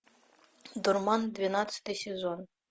дурман двенадцатый сезон